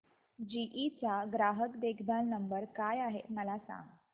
GE चा ग्राहक देखभाल नंबर काय आहे मला सांग